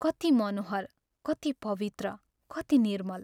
कति मनोहर, कति पवित्र, कति निर्मल।